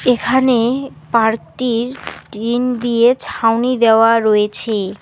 এখানে পার্কটির টিন দিয়ে ছাউনি দেওয়া রয়েছে।